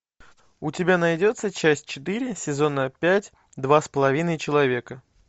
у тебя найдется часть четыре сезона пять два с половиной человека